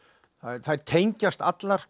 þær tengjast allar